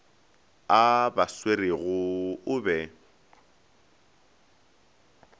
a ba swerego o be